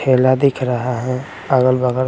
खेला दिख रहा है अगल बगल ।